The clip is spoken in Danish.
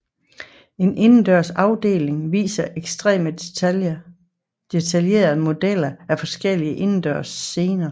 En indendørs afdeling viser ekstremt detaljerede modeller af forskellige indendørsscener